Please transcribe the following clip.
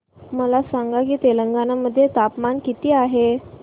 मला सांगा की तेलंगाणा मध्ये तापमान किती आहे